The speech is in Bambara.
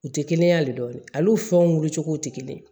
U tɛ kɛnɛya de dɔn ale fɛnw wuli cogo tɛ kelen ye